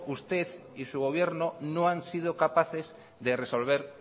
usted y su gobierno no han sido capaces de resolver